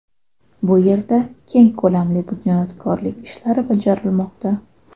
Bu yerda keng ko‘lamli bunyodkorlik ishlari bajarilmoqda.